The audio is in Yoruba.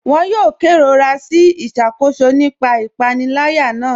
Wọn yòò kẹrọra sí iṣakóṣọ̀ nípa ìpanìlẹ̀yà náà.